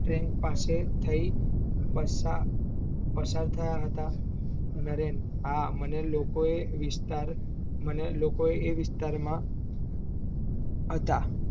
train પાસે થઇ પસાર થયા હતા, નરેન હા મને લોકોં વિસ્તાર માં હતા